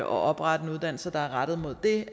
oprette en uddannelse der er rettet mod det